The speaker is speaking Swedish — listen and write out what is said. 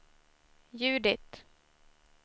Judit